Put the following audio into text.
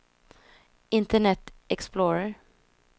internet explorer